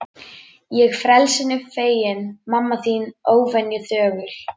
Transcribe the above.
Ég frelsinu feginn, mamma þín óvenju þögul.